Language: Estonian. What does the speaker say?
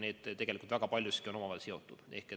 Need tegelikult väga paljus on omavahel seotud.